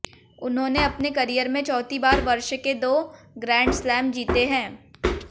उन्होंने अपने करियर में चौथी बार वर्ष के दो ग्रैंडस्लैम जीते हैं